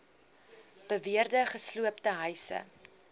beweerde gesloopte huise